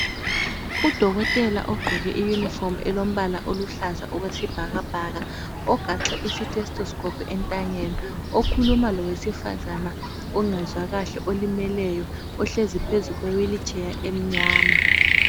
Udokotela ogqoke iyunifomu elombala oluhlaza okwesibhakabhaka. Ogaxe isithesitisikopu entanyeni, okhuluma lowesifazana ongezwa kahle olimeleyo, ohlezi phezukwe wilitsheya emnyama.